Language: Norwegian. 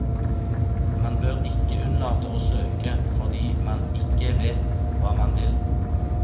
Man bør ikke unnlate å søke fordi man ikke vet hva man vil.